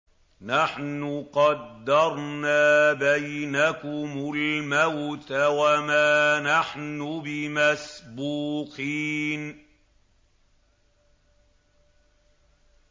نَحْنُ قَدَّرْنَا بَيْنَكُمُ الْمَوْتَ وَمَا نَحْنُ بِمَسْبُوقِينَ